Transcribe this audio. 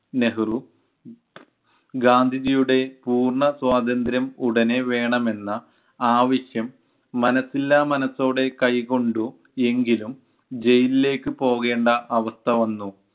നെഹ്‌റു ഗാന്ധിജിയുടെ പൂർണ സ്വാതന്ത്ര്യം ഉടനെ വേണമെന്ന ആവശ്യം, മനസ്സില്ലാ മനസ്സോടെ കൈകൊണ്ടു എങ്കിലും ജയിലിലേക്ക് പോകേണ്ട അവസ്ഥ വന്നു